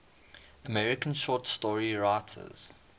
american short story writers